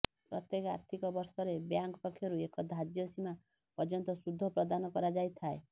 ପ୍ରତ୍ୟେକ ଆର୍ଥିକ ବର୍ଷରେ ବ୍ୟାଙ୍କ ପକ୍ଷରୁ ଏକ ଧାର୍ଯ୍ୟ ସୀମା ପର୍ଯ୍ୟନ୍ତ ସୁଧ ପ୍ରଦାନ କରାଯାଇଥାଏ